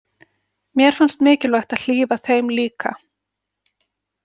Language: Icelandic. Mér fannst mikilvægt að hlífa þeim líka.